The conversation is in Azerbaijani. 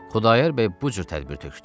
Xudayar bəy bu cür tədbir tökdü.